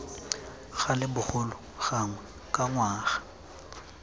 gale bogolo gangwe ka ngwaga